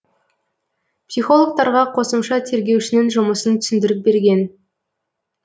психологтарға қосымша тергеушінің жұмысын түсіндіріп берген